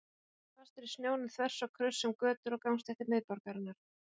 Bílar sátu fastir í snjónum þvers og kruss um götur og gangstéttir miðborgarinnar.